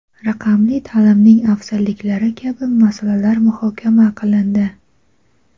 raqamli ta’limning afzalliklari kabi masalalar muhokama qilindi.